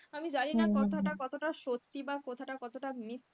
আমি জানিনা কথাটা কতটা সত্যি বা কথাটা কতটা মিথ্যে, হয়তো কিছুটা হলেও সত্যি,